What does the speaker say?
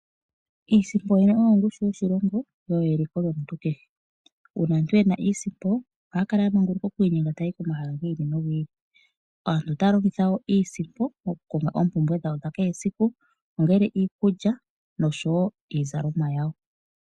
Iisimpo yoyene oyo ongushu yoshilongo yo oyo eliko lyomuntu kehe. Uuna aantu ye na iisimpo ohaya kala ya manguluka oku inyenga taya yi komahala gi ili nogi ili. Aantu otaya longitha wo iisimpo okukonga oompumbwe dhawo dha kehesiku ongele iikulya nosho wo iizalomwa yawo.